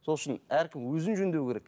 сол үшін әркім өзін жөндеу керек